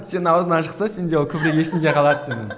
сенің аузыңнан шықса сенде ол көбірек есіңде қалады сенің